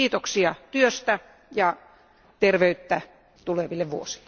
Kiitoksia työstänne ja terveyttä tuleville vuosille!